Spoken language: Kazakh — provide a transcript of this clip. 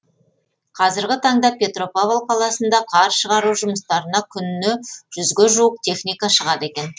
қазіргі таңда петропавл қаласында қар шығару жұмыстарына күніне жүзге жуық техника шығады екен